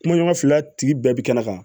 Kumaɲɔgɔn fila tigi bɛɛ bi kɛnɛ kan